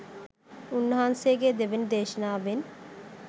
උන්වහන්සේගේ දෙවැනි දේශනාවෙන්